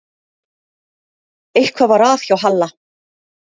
Eitthvað var að hjá Halla.